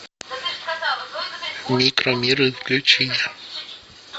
микромиры включи